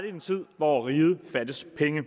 en tid hvor riget fattes penge